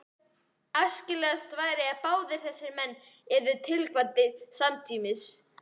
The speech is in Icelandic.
Æskilegast væri, að báðir þessir menn yrðu tilkvaddir samtímis.